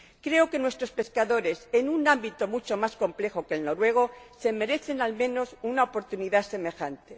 Creo que nuestros pescadores, en un ámbito mucho más complejo que el noruego, se merecen, al menos, una oportunidad semejante.